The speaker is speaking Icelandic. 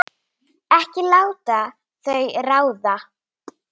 Ekki láta þau ráða.